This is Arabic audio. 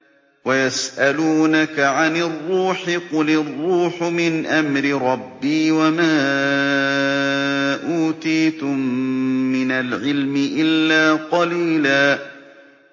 وَيَسْأَلُونَكَ عَنِ الرُّوحِ ۖ قُلِ الرُّوحُ مِنْ أَمْرِ رَبِّي وَمَا أُوتِيتُم مِّنَ الْعِلْمِ إِلَّا قَلِيلًا